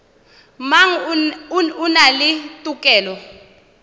mang o na le tokelo